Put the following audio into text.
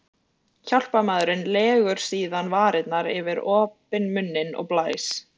Hjálparmaðurinn legur síðan varirnar yfir opinn munninn og blæs.